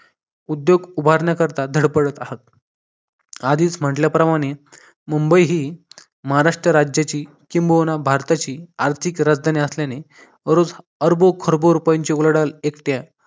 उद्योग उभारण्याकरिता धडपडत आहात आधीच म्हटल्याप्रमाणे मुंबई ही महाराष्ट्र राज्याची किंबहुना भारताची आर्थिक राजधानी असल्याने रोज अरबो खरबो रुपयांची उलाढाल एकट्या